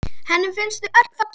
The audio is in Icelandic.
Henni finnst þau öll falleg.